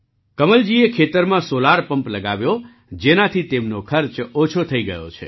કમલજીએ ખેતરમાં solar pump લગાવ્યો જેનાથી તેમનો ખર્ચ ઓછો થઈ ગયો છે